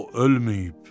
o ölməyib.